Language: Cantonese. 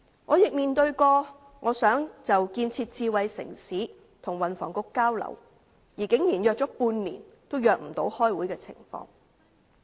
我曾希望就建設智慧城市與運輸及房屋局交流，但竟然相約半年也未能安排會議。